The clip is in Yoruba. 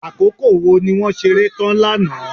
Àkókò wo ni wọ́n ṣeré tán lánàá.